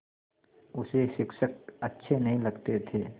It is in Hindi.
उसे शिक्षक अच्छे नहीं लगते थे